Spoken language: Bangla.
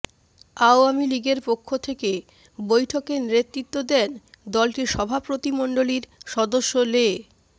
আওয়ামী লীগের পক্ষ থেকে বৈঠকে নেতৃত্ব দেন দলটির সভাপতিমণ্ডলীর সদস্য লে